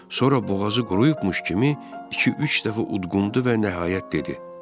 Sonra boğazı quruyubmuş kimi iki-üç dəfə udqundu və nəhayət dedi: